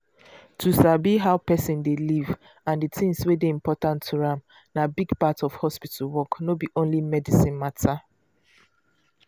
to sabi how person dey live and the things wey dey important to am na big part of hospital work no be only medicine matter.